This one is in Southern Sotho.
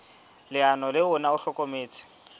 leano le ona o hlokometse